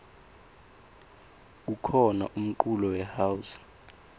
kukhona umculo we house